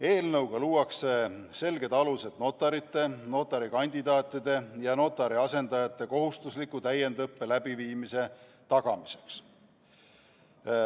Eelnõuga luuakse selged alused notarite, notarikandidaatide ja notari asendajate kohustusliku täiendusõppe läbiviimise tagamiseks.